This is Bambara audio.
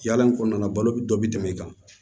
Yala in kɔnɔna na balo bɛ dɔ bɛ tɛmɛ i kan